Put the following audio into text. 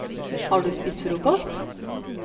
Har du spist frokost?